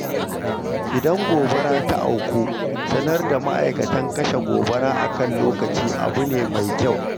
Idan gobara ta auku, sanar da ma'aikatan kashe gobara akan lokaci abu ne mai kyau.